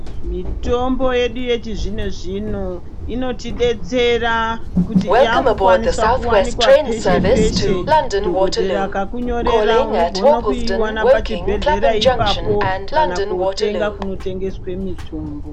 Mitombo yedu yechizvino-zvino inotidetsera kuti yakukwanisa kuwanikwa peshe peshe. Dhogodhera akakunyorera unogona kuiwana pachibhedhlera ipapo kana kutenga kunotengeswe mitombo.